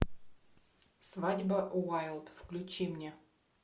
свадьба уайлд включи мне